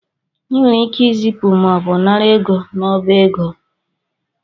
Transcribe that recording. I nwere ike ịzịpụ mọọbụ nara ego n’ọba ego